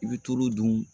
I bɛ tulu dun